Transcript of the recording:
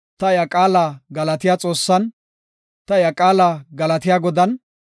Ta iya qaala galatiya Xoossan, ta iya qaala galatiya Godan,